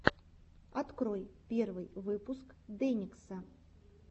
открой первый выпуск дэникса